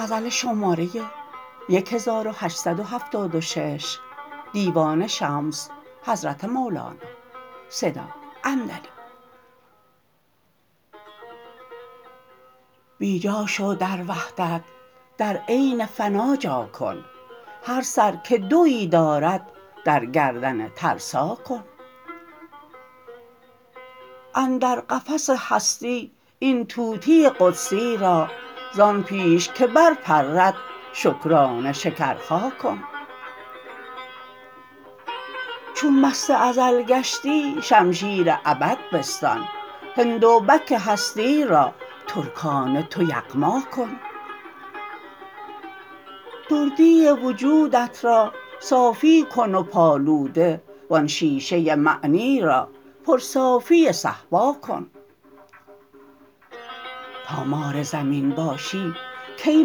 بی جا شو در وحدت در عین فنا جا کن هر سر که دوی دارد در گردن ترسا کن اندر قفس هستی این طوطی قدسی را زان پیش که برپرد شکرانه شکرخا کن چون مست ازل گشتی شمشیر ابد بستان هندوبک هستی را ترکانه تو یغما کن دردی وجودت را صافی کن و پالوده وان شیشه معنی را پرصافی صهبا کن تا مار زمین باشی کی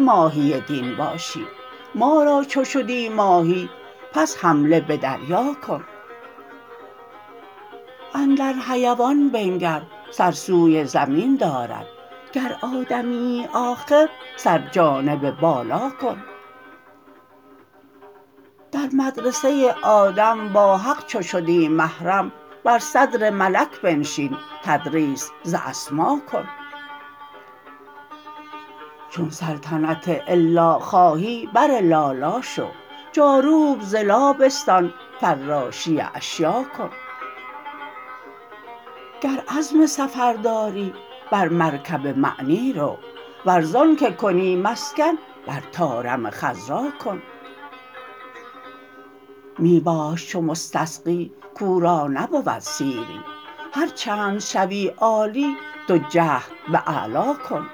ماهی دین باشی ما را چو شدی ماهی پس حمله به دریا کن اندر حیوان بنگر سر سوی زمین دارد گر آدمیی آخر سر جانب بالا کن در مدرسه آدم با حق چو شدی محرم بر صدر ملک بنشین تدریس ز اسما کن چون سلطنت الا خواهی بر لالا شو جاروب ز لا بستان فراشی اشیاء کن گر عزم سفر داری بر مرکب معنی رو ور زانک کنی مسکن بر طارم خضرا کن می باش چو مستسقی کو را نبود سیری هر چند شوی عالی تو جهد به اعلا کن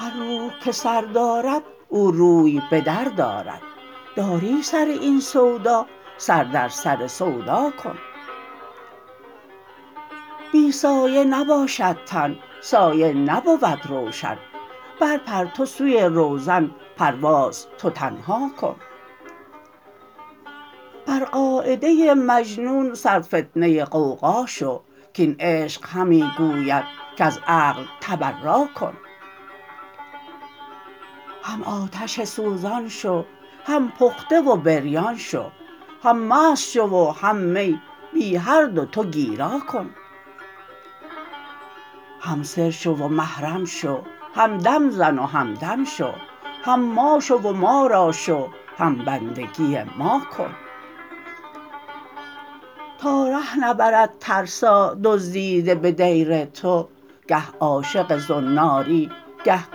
هر روح که سر دارد او روی به در دارد داری سر این سودا سر در سر سودا کن بی سایه نباشد تن سایه نبود روشن برپر تو سوی روزن پرواز تو تنها کن بر قاعده مجنون سرفتنه غوغا شو کاین عشق همی گوید کز عقل تبرا کن هم آتش سوزان شو هم پخته و بریان شو هم مست شو و هم می بی هر دو تو گیرا کن هم سر شو و محرم شو هم دم زن و همدم شو هم ما شو و ما را شو هم بندگی ما کن تا ره نبرد ترسا دزدیده به دیر تو گه عاشق زناری گه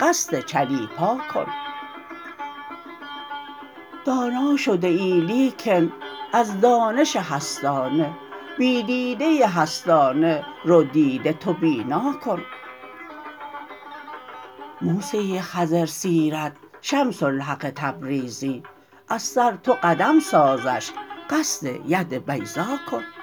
قصد چلیپا کن دانا شده ای لیکن از دانش هستانه بی دیده هستانه رو دیده تو بینا کن موسی خضرسیرت شمس الحق تبریزی از سر تو قدم سازش قصد ید بیضا کن